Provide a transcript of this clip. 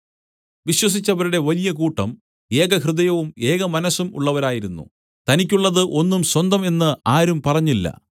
വിശ്വസിച്ചവരുടെ വലിയ കൂട്ടം ഏകഹൃദയവും ഏകമനസ്സും ഉള്ളവരായിരുന്നു തനിക്കുള്ളത് ഒന്നും സ്വന്തം എന്ന് ആരും പറഞ്ഞില്ല